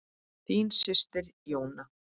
Þín systir, Jóna.